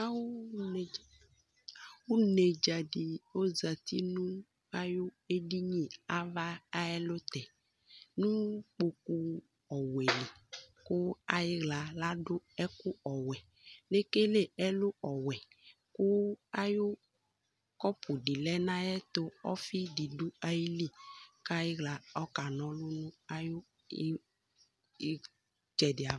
awunedza di ozati nu awu edini ava ayɛlutɛ nu kpoku ɔwɛli ayiwla ladu ɛku ɔwɛ lekele ɛlu ɔwɛ ku kɔpu di lɛ nu ayatu ɔfi didu ayili kaywla kanɔlu nu itsɛ di